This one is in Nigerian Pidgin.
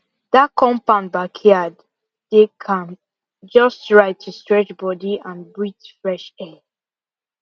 that compound backyard dey calm just right to stretch body and breathe fresh air